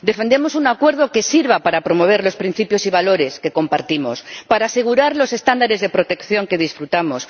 Defendemos un acuerdo que sirva para promover los principios y valores que compartimos, para asegurar los estándares de protección que disfrutamos.